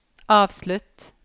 avslutt